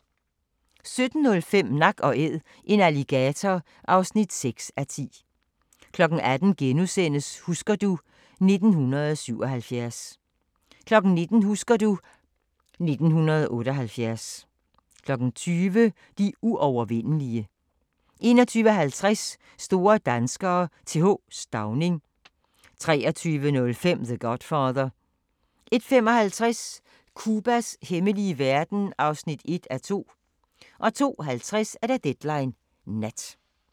17:05: Nak & Æd – en alligator (6:10) 18:00: Husker du ... 1977 * 19:00: Husker du ... 1978 20:00: De uovervindelige 21:50: Store danskere - Th. Stauning 23:05: The Godfather 01:55: Cubas hemmelige verden (1:2) 02:50: Deadline Nat